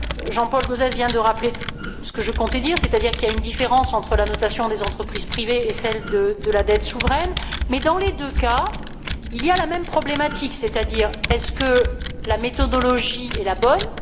Jean Paul Gauzès vient de rappeler ce que je comptais dire, c'est à dire qu'il y a une différence entre la notation des entreprises privées et celle de la dette souveraine, mais, dans les deux cas, il y a la même problématique, c'est à dire la méthodologie est elle la bonne?